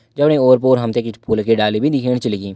जफणी ओर पोर हम ते फूलों की डाली भी दिखेण छ लगीं।